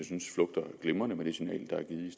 synes flugter glimrende med det signal der er givet